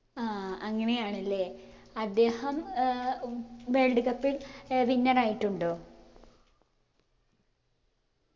ആ അങ്ങനെയാണ്ല്ലേ അദ്ദേഹം ഏർ വ് world cup ൽ ഏർ winner ആയിട്ടുണ്ടോ